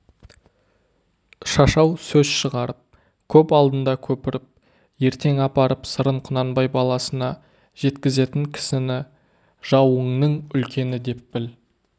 шашау сөз шығарып көп алдында көпіріп ертең апарып сырын құнанбай баласына жеткізетін кісіні жауыңның үлкені деп біл